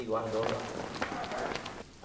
E guardou lá.